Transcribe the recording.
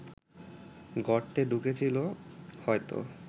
গর্তে ঢুকেছিল হয়তো